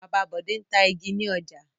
Bàbá Bọ̀dé ń ta igi ní ọjà.